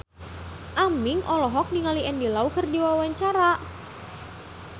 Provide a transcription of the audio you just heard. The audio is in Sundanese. Aming olohok ningali Andy Lau keur diwawancara